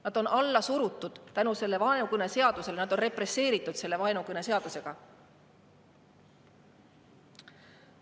Nad on alla surutud tänu sellele vaenukõneseadusele, nad on represseeritud selle vaenukõneseadusega!